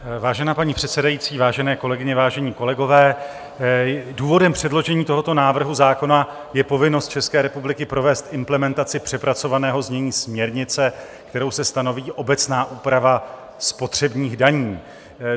Vážená paní předsedající, vážené kolegyně, vážení kolegové, důvodem předložení tohoto návrhu zákona je povinnost České republiky provést implementaci přepracovaného znění směrnice, kterou se stanoví obecná úprava spotřebních daní.